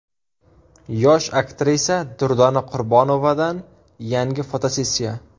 Yosh aktrisa Durdona Qurbonovadan yangi fotosessiya.